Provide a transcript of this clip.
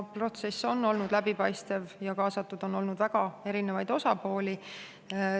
Protsess on olnud läbipaistev ja kaasatud on olnud väga erinevad osapooled.